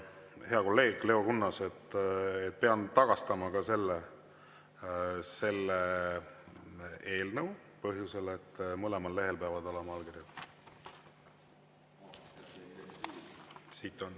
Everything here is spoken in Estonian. Hea kolleeg Leo Kunnas, pean tagastama ka selle eelnõu põhjusel, et mõlemal lehel peavad olema allkirjad.